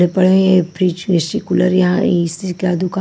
ये पहले fridge AC cooler यहां ए_सी का दुकान--